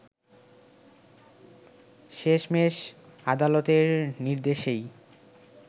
শেষমেশ আদালতের নির্দেশেই